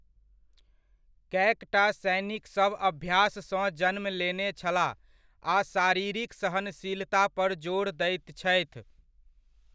कै टा सैनिकसभ अभ्याससँ जन्म लेने छलाह आ शारीरिक सहनशीलता पर जोर दैत छथि।